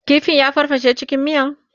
kifin ya farfashe cikin miyan?